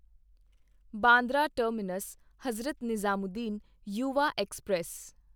Bandra terminus Hazrat Nizamuddin Yuva express